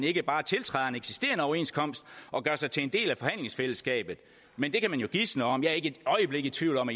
ikke bare tiltræder en eksisterende overenskomst og gør sig til en del af forhandlingsfællesskabet men det kan man jo kun gisne om jeg er ikke et øjeblik i tvivl om